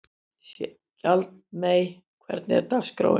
Skjaldmey, hvernig er dagskráin?